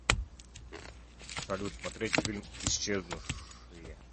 салют смотреть фильм исчезнувшие